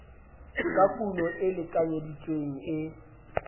ka kuno e lekanyeditsweng e